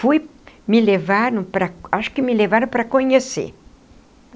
Fui, me levaram para, acho que me levaram para conhecer.